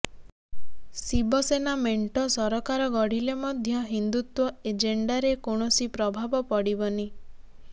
ଶିବସେନା ମେଣ୍ଟ ସରକାର ଗଢ଼ିଲେ ମଧ୍ୟ ହିନ୍ଦୁତ୍ୱ ଏଜେଣ୍ଡାରେ କୌଣସି ପ୍ରଭାବ ପଡ଼ିବନି